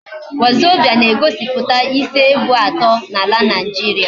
Wazobia na egosiputa isi ebo ato na ala Nigeria